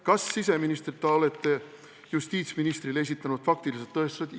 Kas siseministrina olete justiitsministrile esitanud faktilised tõestused?